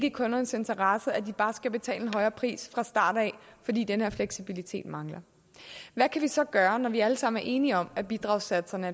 i kundernes interesse at de bare skal betale en højere pris fra starten af fordi den her fleksibilitet mangler hvad kan vi så gøre når vi alle sammen er enige om at bidragssatserne